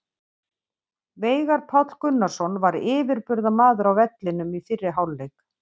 Veigar Páll Gunnarsson var yfirburðamaður á vellinum í fyrri hálfleik.